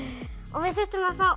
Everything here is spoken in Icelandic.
við þurftum að fá